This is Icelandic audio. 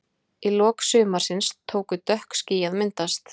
Í lok sumarsins tóku dökk ský að myndast.